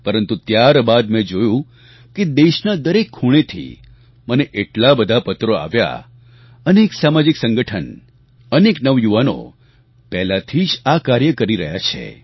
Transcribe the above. પરંતુ ત્યારબાદ મેં જોયું કે દેશના દરેક ખૂણેથી મને એટલા બધા પત્રો આવ્યા અનેક સામાજિક સંગઠન અનેક નવયુવાનો પહેલાથી જ આ કાર્ય કરી રહ્યા છે